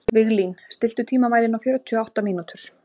Ég hafði farið í Kringluna í leit að jólagjöf handa Gunn